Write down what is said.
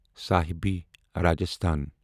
صاحبی Rajasthan